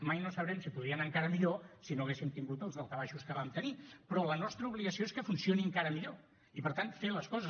mai no sabrem si podria anar encara millor si no haguéssim tingut els daltabaixos que vam tenir però la nostra obligació és que funcioni encara millor i per tant fer les coses